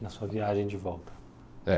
Na sua viagem de volta. É